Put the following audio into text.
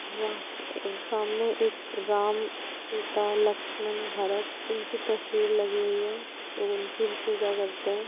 वहां सामने एक राम सीता लक्ष्मण भरत इनकी तस्वीर लगी हुई है तो उनकी पूजा करते हैं ।